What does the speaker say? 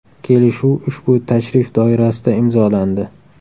Kelishuv ushbu tashrif doirasida imzolandi.